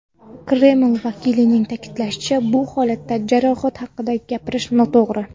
Kreml vakilining ta’kidlashicha, bu holatda jarohat haqida gapirish noto‘g‘ri.